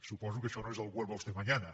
suposo que això no és el vuelva usted mañana